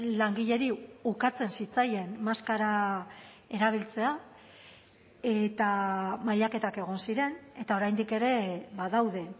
langileri ukatzen zitzaien maskara erabiltzea eta mailaketak egon ziren eta oraindik ere badaude